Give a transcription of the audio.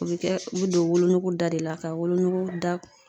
O be kɛ o be don wolonuku da de la ka wolonuku da